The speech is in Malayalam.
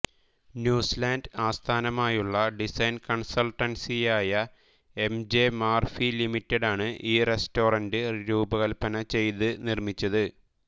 ന്യൂസിലാന്റ് ആസ്ഥാനമായുള്ള ഡിസൈൻ കൺസൾട്ടൻസിയായ എം ജെ മർഫി ലിമിറ്റഡാണ് ഈ റെസ്റ്റോറന്റ് രൂപകൽപ്പന ചെയ്ത് നിർമ്മിച്ചത്